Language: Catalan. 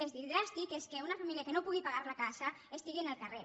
és a dir dràstic és que una família que no pugui pagar la casa estigui al carrer